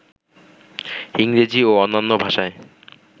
ইংরেজি ও অন্যান্য ভাষায়